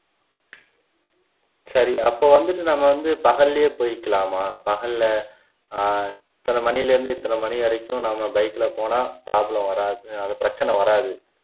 சரி அப்ப வந்துட்டு நம்ம வந்து பகல்லேயே போயிக்கலாமா பகல்ல ஆஹ் இத்தனை மணில இருந்து இத்தனை மணி வரைக்கும் நம்ம bike ல போனா problem வராது அந்த பிரச்சினை வராது